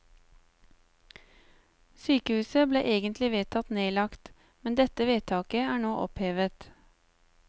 Sykehuset ble egentlig vedtatt nedlagt, men dette vedtaket er nå opphevet.